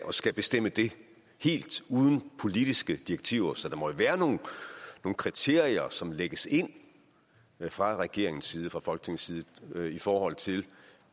at skulle bestemme det helt uden politiske direktiver så der må være nogle kriterier som lægges ind fra regeringens side fra folketingets side i forhold til